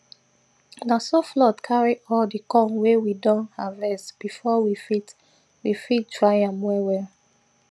na so flood carry all the corn wey we don harvest before we fit we fit dry am wellwell